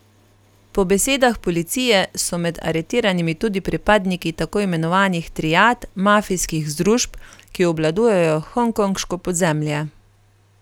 Po besedah policije so med aretiranimi tudi pripadniki tako imenovanih triad, mafijskih združb, ki obvladujejo hongkonško podzemlje.